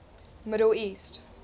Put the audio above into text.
middle east